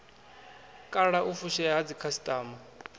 kala u fushea ha dzikhasitama